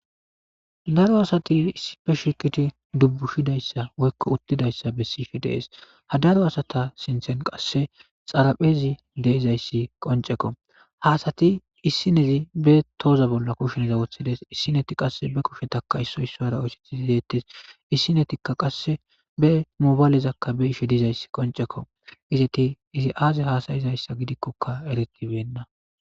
daro asati issipe shiqidi dubbushidayssa woykko uttidayssa besishe dees ha daro asata sinthen qasse xaraphezi deizayssi qonceko haasati issinezi be tooza bolla kusheneza woththides issineti qasse be kushetaka issoy isso ara oyseti izeettes issinetikka qasse be mobayalezakka be ishe dizayssi qoncekko izeti izi aaze hasayizayssa gidikkoka eregibenna.